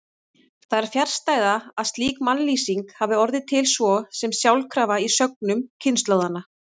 Það er fjarstæða að slík mannlýsing hafi orðið til svo sem sjálfkrafa í sögnum kynslóðanna.